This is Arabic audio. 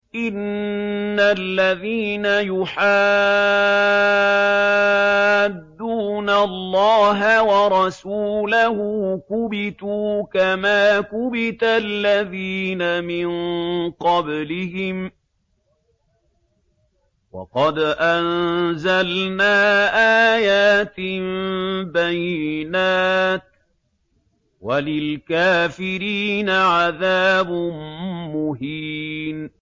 إِنَّ الَّذِينَ يُحَادُّونَ اللَّهَ وَرَسُولَهُ كُبِتُوا كَمَا كُبِتَ الَّذِينَ مِن قَبْلِهِمْ ۚ وَقَدْ أَنزَلْنَا آيَاتٍ بَيِّنَاتٍ ۚ وَلِلْكَافِرِينَ عَذَابٌ مُّهِينٌ